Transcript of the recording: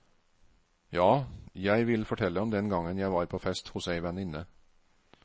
Ja, jeg vil fortelle om den gangen jeg var på fest hos ei venninne.